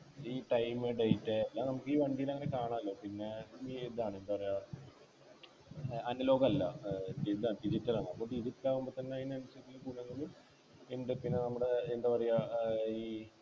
ഈ time date എല്ലാം നമുക്ക് ഈ വണ്ടിയുടെ അങ്ങനെ കാണാല്ലോ പിന്നെ ഈ ഇതാണ് എന്താ പറയാ ഏർ Analog അല്ല ഏർ ഇതാ digital ആണ് അപ്പൊ digital ആവുമ്പോ തന്നെ അതിനനുസരിച്ച് ഗുണങ്ങള് ഉണ്ട് പിന്നെ നമ്മുടെ എന്താ പറയാ ഏർ ഈ